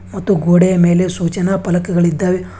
ಮತ್ತು ಗೋಡೆಯ ಮೇಲೆ ಸೂಚನಾ ಪಲಕಗಳಿದ್ದಾವೆ.